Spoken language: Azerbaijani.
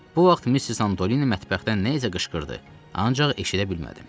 Bu vaxt Missis Antoni mətbəxdən nə isə qışqırdı, ancaq eşidə bilmədim.